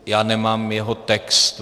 Já nemám jeho text.